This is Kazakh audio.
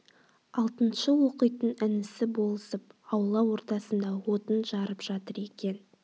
алтыншы оқитын інісі болысып аула ортасында отын жарып жатыр екен